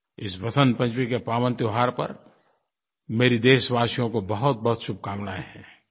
इस वसन्त पंचमी के पावन त्योहार पर मेरी देशवासियों को बहुतबहुत शुभकामनायें हैं